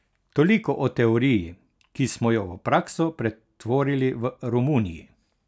Toliko o teoriji, ki smo jo v prakso pretvorili v Romuniji.